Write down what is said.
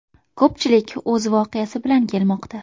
Ko‘pchilik o‘z voqeasi bilan kelmoqda.